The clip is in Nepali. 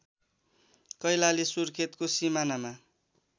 कैलाली सुर्खेतको सिमानामा